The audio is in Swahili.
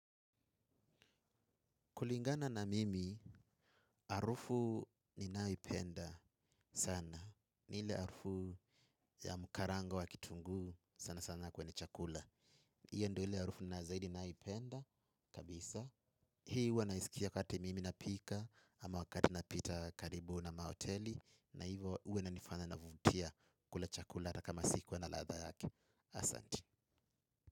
Kulingana na mimi, harufu ninaipenda sana. Ni ile harufu ya mkarango wa kitunguu sana sana kwenye chakula. Hiyo ndo ile harufu na zaidi naipenda kabisa. Hii huwa naisikia wakati mimi napika ama wakati napita karibu na mahoteli. Na hivo huwa inanifanya navutia kula chakula hata kama sikuwa na ladha yake. Asanti.